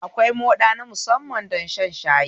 Akwai moɗa na musamman don shan shayi